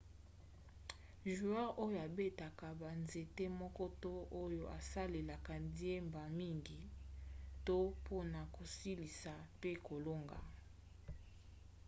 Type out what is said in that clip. joueur oyo abetaka banzete moko to oyo asalelaka diemba mingi to mpona kosilisa pe kolonga